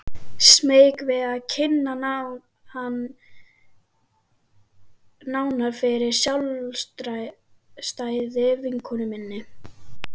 Smeyk við að kynna hann nánar fyrir sjálfstæðri vinkonu minni.